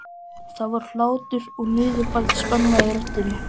Það var hlátur og niðurbæld spenna í röddinni.